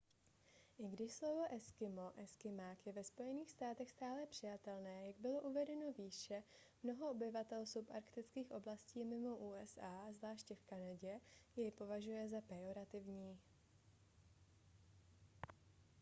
i když slovo eskimo eskymák je ve spojených státech stále přijatelné jak bylo uvedeno výše mnoho obyvatel subarktických oblastí mimo usa zvláště v kanadě jej považuje za pejorativní